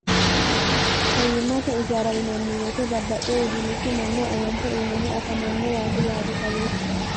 fayyimmate ijaarainanniweyite babbaxe udumichi manno awante uyinehu afamanno waati yaate kawiichi